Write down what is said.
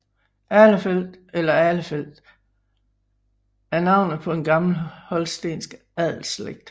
Ahlefeld eller Ahlefeldt er navnet på en gammel holstensk adelsslægt